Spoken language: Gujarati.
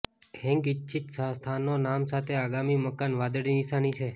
હેંગ ઇચ્છિત સ્થાનો નામ સાથે આગામી મકાન વાદળી નિશાની છે